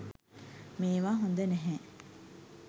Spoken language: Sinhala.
මේවා හොද නැහැ.